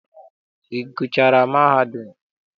Ị gụchaara mahadum?